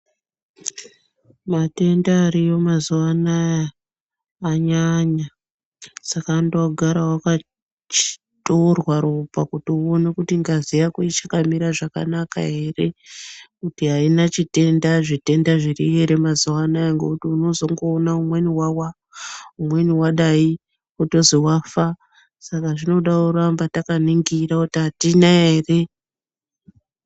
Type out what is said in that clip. Matenda ariyo mazuwa anaya anyanya saka anoda kugara wakatorwa ropa kuti uone kuti ngazi yako ichakamira zvakanaka ere kuti aina chitenda zvitenda zviriyo ere mazuwa anaya ngekuti unozongoona mumweni wawa mumweni wadaibotozi wafa saka zvinoda kuramba takaningira kuti atina ere.